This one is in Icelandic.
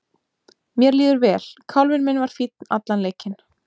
Mér líður vel, kálfinn minn var fínn allan leikinn.